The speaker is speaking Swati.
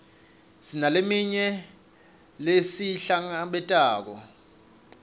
sinaleminye lesiyihlabelelako